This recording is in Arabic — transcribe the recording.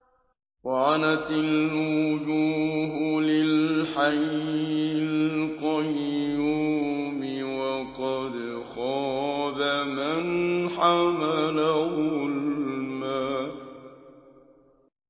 ۞ وَعَنَتِ الْوُجُوهُ لِلْحَيِّ الْقَيُّومِ ۖ وَقَدْ خَابَ مَنْ حَمَلَ ظُلْمًا